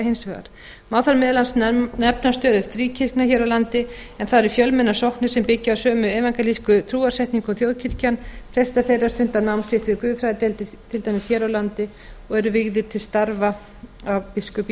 hins vegar má þar meðal annars nefna stöðu fríkirkna hér á landi en það eru fjölmennar sóknir sem byggja á sömu evangelísku trúarsetningu og þjóðkirkjan prestar þeirra stunda nám sitt við guðfræðideildir til dæmis hér á landi og eru vígðir til starfa af biskupi